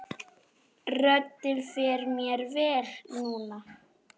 Röddin fer mér vel núna.